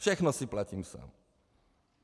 Všechno si platím sám.